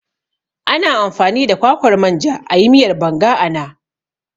Ana amfani da kwakwar manja ayi miyar Banga ana